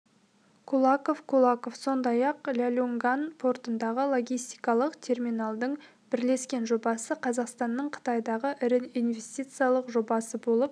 кулаков кулаков сондай-ақ ляньюньган портындағы логистикалық терминалдың бірлескен жобасы қазақстанның қытайдағы ірі инвестициялық жобасы болып